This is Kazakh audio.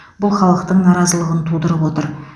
бұл халықтың наразылығын тудырып отыр